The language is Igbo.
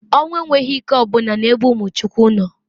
Onwu enwghi ike o buna n'ebe umu Chukwu no.